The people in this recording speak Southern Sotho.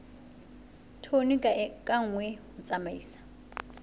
tone ka nngwe ho tsamaisa